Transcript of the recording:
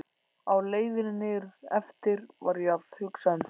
Á leiðinni niðureftir var ég að hugsa um þig.